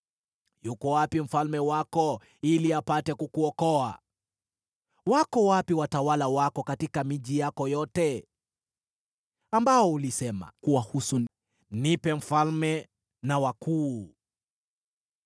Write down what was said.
Yuko wapi mfalme wako, ili apate kukuokoa? Wako wapi watawala wako katika miji yako yote ambao ulisema kuwahusu, ‘Nipe mfalme na wakuu’?